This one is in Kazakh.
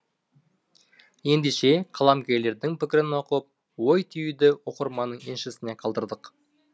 ендеше қаламгерлердің пікірін оқып ой түюді оқырманның еншісіне қалдырдық